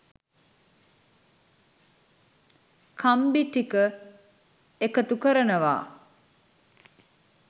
කම්බි ටික එකතු කරනවා